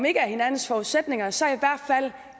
ikke hinandens forudsætninger så